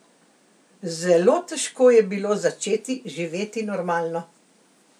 Zelo težko je bilo začeti živeti normalno.